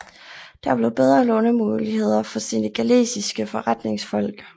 Der blev bedre lånemuligheder for senegalesiske forretningsfolk